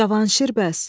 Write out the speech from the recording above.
Cavanşir bəs?